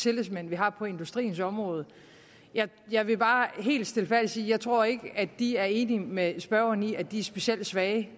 tillidsmænd vi har på industriens område jeg vil bare helt stilfærdigt sige at jeg ikke tror at de er enige med spørgeren i at de er specielt svage jeg